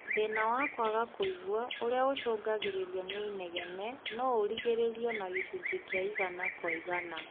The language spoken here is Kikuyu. Thĩna wa kwaga kũigua ũrĩa ũcũngagĩrĩrio nĩ inegene, no ũrigĩrĩrio na gĩcunjĩ kĩa igana kwa igana